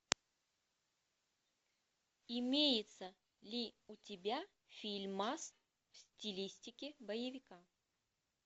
имеется ли у тебя фильмас в стилистике боевика